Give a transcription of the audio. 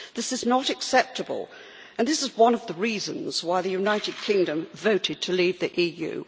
This is not acceptable and it is one of the reasons why the United Kingdom voted to leave the EU.